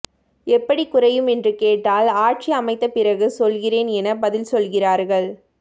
எப்படி குறையும் என்று கேட்டால் ஆட்சி அமைத்த பிறகு சொல்கிறேன் என பதில் சொல்கிறார்கள்